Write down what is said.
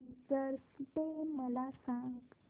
teachers day मला सांग